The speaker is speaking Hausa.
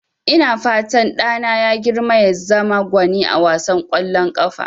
Ina fatan ɗana ya girma ya zama gwani a wasan ƙwallon ƙafa.